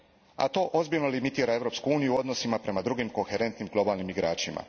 A to ozbiljno limitira Europsku uniju u odnosima prema drugim koherentnim globalnim igračima.